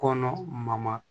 Kɔnɔ ma